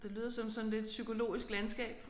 Det lyder som sådan lidt psykologisk landskab